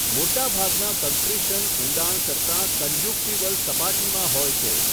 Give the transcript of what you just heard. મોટા ભાગના કન્ક્રીશન ઊંડાણ કરતાં કંજંકટાઇવલ સપાટીમાં હોય છે.